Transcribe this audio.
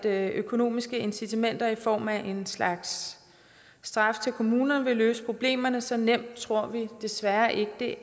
at økonomiske incitamenter i form af en slags straf til kommunerne vil løse problemerne så nemt tror vi desværre ikke det